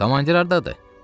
"Komandir hardadır?"